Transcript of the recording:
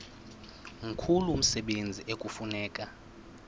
mkhulu umsebenzi ekufuneka